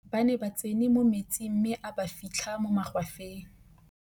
ba ne ba tsene mo metsing mme a ba fitlha mo magwafeng